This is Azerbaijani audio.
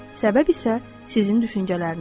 Səbəb isə sizin düşüncələrinizdir.